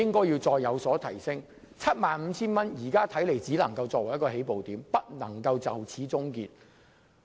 現在看來 ，75,000 元只能作為起步點，不能就此終結。